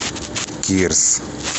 кирс